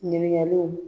Ɲininkaliw